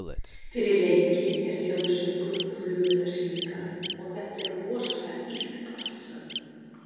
Fyrir leiki er þjóðsöngur og flugeldasýningar og þetta er rosalega ýkt allt saman.